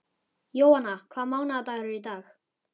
Jóanna, hvaða mánaðardagur er í dag?